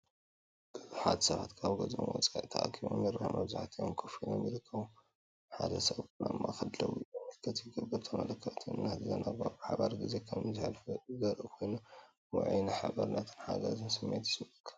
ብዙሓት ሰባት ካብ ገዝኦም ወጻኢ ተኣኪቦም ይረኣዩ። መብዛሕትኦም ኮፍ ኢሎም ይርከቡ፡ ሓደ ሰብ ግን ኣብ ማእከል ደው ኢሉ ምልክት ይገብር። ተኣኪቦም፡ እናተዘናግዑን ብሓባር ግዜ ከም ዘሕልፉን ዘርኢ ኮይኑ፡ ውዑይ ናይ ሓባርነትን ሓጎስን ስምዒት ይስምዓካ፡፡